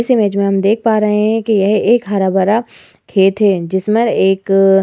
इस इमेज मे हम देख पा रहे हैं कि यह एक हरा भरा खेत है जिस मर एक --